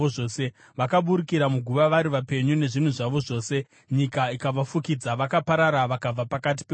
Vakaburukira muguva vari vapenyu, nezvinhu zvavo zvose; nyika ikavafukidza, vakaparara vakabva pakati peungano.